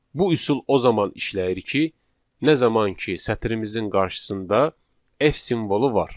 Bu üsul o zaman işləyir ki, nə zaman ki, sətrimizin qarşısında F simvolu var.